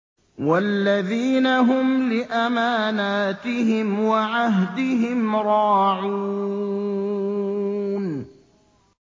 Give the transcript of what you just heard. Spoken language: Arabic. وَالَّذِينَ هُمْ لِأَمَانَاتِهِمْ وَعَهْدِهِمْ رَاعُونَ